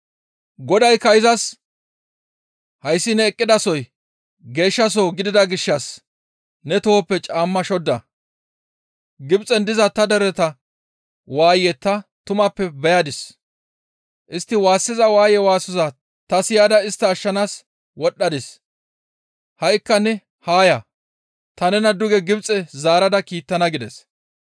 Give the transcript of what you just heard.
«Godaykka izas, ‹Hayssi ne eqqidasoy geeshshasoho gidida gishshas ne tohoppe caamma shodda; Gibxen diza ta dereta waaye ta tumappe beyadis; istti waassiza waaye waasoza ta siyada istta ashshanaas wodhdhadis; ha7ikka ne haa ya; ta nena duge Gibxe zaarada kiittana› gides.